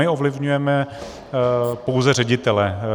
My ovlivňujeme pouze ředitele.